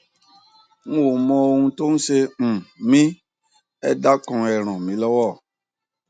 n ò mọ ohun tó ń ṣe um mí ẹ dákun ẹ ràn mí lọwọ